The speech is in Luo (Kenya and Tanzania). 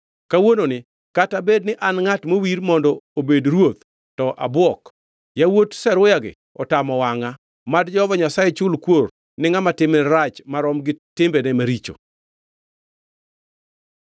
Kawuononi, kata bedni an e ngʼat mowir mondo obed ruoth to abwok, yawuot Zeruya-gi otamo wangʼa. Mad Jehova Nyasaye chul kuor ni ngʼama timne rach marom gi timbene maricho!”